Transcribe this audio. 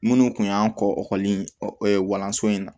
Minnu tun y'an kɔ ɔ ekɔliso in na